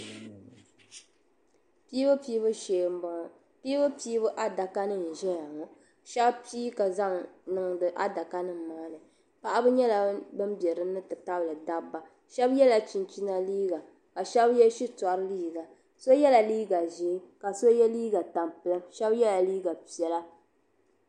Piibu piibu shee m bo ŋɔ piibu piibu adaka n ʒeya ŋɔ ka shɛb pii ka zaŋ niŋdi adakanim maa ni paɣaba nyela ban biɛ din ni ti tabili dabba shɛb yela chinchina liiga ka shɛb ye shitori liiga so yela liiga ʒee ka so ye liiga tampiliŋ shɛb yela liiga piɛla.